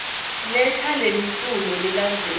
letsa lemiculu lelandzelako